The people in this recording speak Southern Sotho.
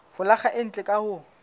folaga e ntle ka ho